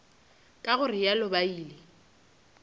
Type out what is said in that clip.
ka go realo ba ile